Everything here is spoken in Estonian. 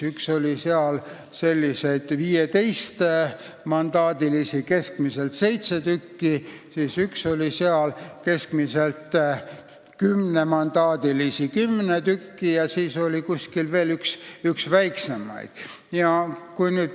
Üks skeem nägi ette keskmiselt 15-mandaadilisi valimisringkondi, seitse tükki, üks keskmiselt kümnemandaadilisi, kümme tükki, ja üks skeem nägi ette veel väiksemaid valimisringkondi.